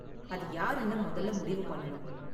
அது யாருனு முதல்ல முடிவு பண்ணனும்.